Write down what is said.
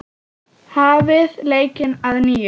Hafið leikinn að nýju.